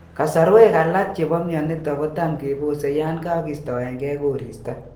Kasarwek alak chebo myonitok kotam kebose yan kagistoengei koristo